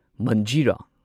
ꯃꯟꯖꯤꯔꯥ